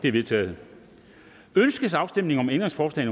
er vedtaget ønskes afstemning om ændringsforslag